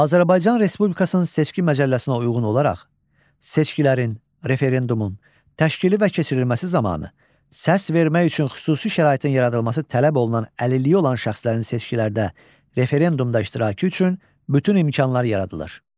Azərbaycan Respublikasının seçki məcəlləsinə uyğun olaraq seçkilərin, referendumun təşkili və keçirilməsi zamanı səs vermək üçün xüsusi şəraitin yaradılması tələb olunan əlilliyi olan şəxslərin seçkilərdə, referendumda iştirakı üçün bütün imkanlar yaradılır.